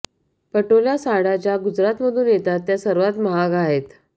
पटोल्या साड्या ज्या गुजरातमधून येतात त्या सर्वात महाग आहेत